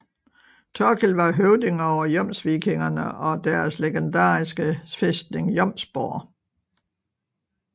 Thorkil var høvding over jomsvikingerne og deres legendariske fæstning Jomsborg